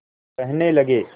कहने लगे